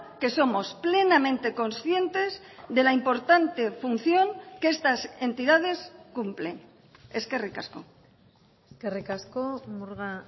que somos plenamente conscientes de la importante función que estas entidades cumplen eskerrik asko eskerrik asko murga